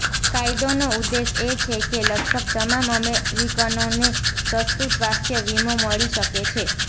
કાયદોનો ઉદ્દેશ એ છે કે લગભગ તમામ અમેરિકનોને સસ્તું સ્વાસ્થ્ય વીમો મળી શકે છે